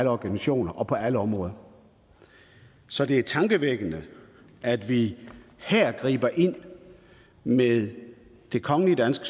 organisationer og på alle områder så det er tankevækkende at vi her griber ind med det kongelige danske